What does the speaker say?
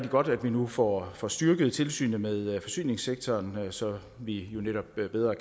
godt at vi nu får får styrket tilsynet med forsyningssektoren så vi jo netop bedre